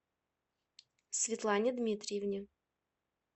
светлане дмитриевне